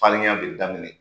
Farinya bɛ daminɛ